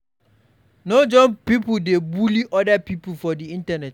No join pipo dey bully oda pipo for di internet